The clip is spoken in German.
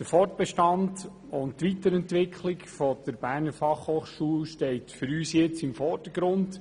Der Fortbestand und die Weiterentwicklung der Berner Fachhochschule stehen für uns im Vordergrund.